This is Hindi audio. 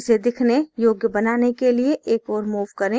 इसे दिखने योग्य बनाने के लिए एक ओर move करें